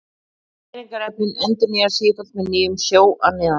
Næringarefnin endurnýjast sífellt með nýjum sjó að neðan.